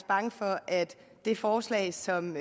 bange for at det forslag som